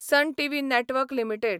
sun TV network limited